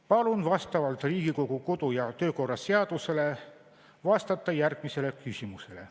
Palun vastavalt Riigikogu kodu‑ ja töökorra seadusele vastata järgmistele küsimustele.